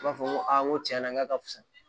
I b'a fɔ ko a n ko tiɲɛna k'a ka fusa